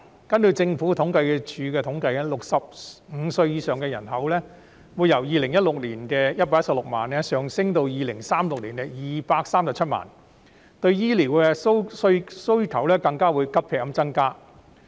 根據政府統計處的統計 ，65 歲以上人口會由2016年的116萬人上升到2036年的237萬人，令醫療需求急劇增加。